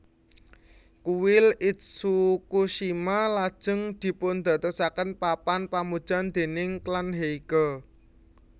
Kuil Itsukushima lajeng dipundadosaken papan pamujan déning klan Heike